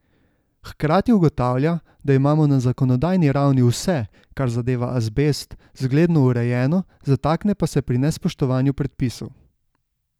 Hkrati ugotavlja, da imamo na zakonodajni ravni vse, kar zadeva azbest, zgledno urejeno, zatakne pa se pri nespoštovanju predpisov.